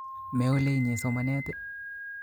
Meole inye somanet i?